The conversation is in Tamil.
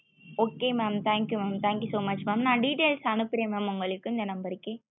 okay mam thank you mam thank you so much mam நா details அனுபுறே mam உங்கள்ளுக்கு இந்த number கே